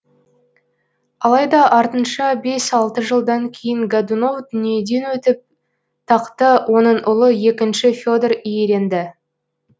алайда артынша бес алты жылдан кейін годунов дүниеден өтіп тақты оның ұлы екінші фе дор иеленді